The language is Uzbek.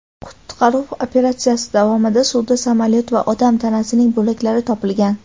Qutqaruv operatsiyasi davomida suvda samolyot va odam tanasining bo‘laklari topilgan.